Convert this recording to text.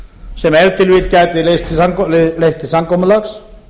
sem ef til vill gætu leitt til samkomulags